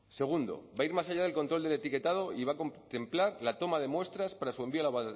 segundo va a ir más allá del control del etiquetado y va a contemplar la toma de muestras para su envío al